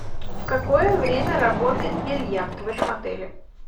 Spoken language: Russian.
в какое время работает бильярд в этом отеле